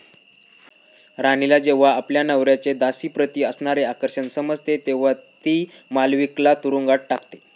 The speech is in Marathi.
राणीला जेव्हा आपल्या नवऱ्याचे दासीप्रती असणारे आकर्षण समजते तेव्हा ती मालविकेला तुरुंगात टाकते.